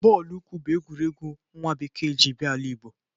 Bọọlụ ụkwụ bụ egwuregwu nwa bekee jiri bia ala Igbo.